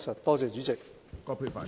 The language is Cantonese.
多謝主席。